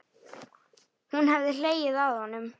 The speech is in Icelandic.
Hún hefði hlegið að honum.